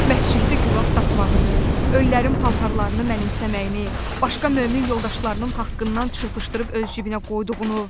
Məsciddə gülab satmağını, öllərin paltarlarını mənimsəməyini, başqa mömin yoldaşlarının haqqından çırpışdırıb öz cibinə qoyduğunu.